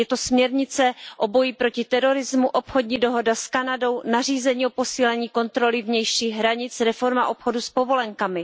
Je to směrnice o boji proti terorismu, obchodní dohoda s Kanadou, nařízení o posílení kontroly vnějších hranic, reforma obchodu s povolenkami.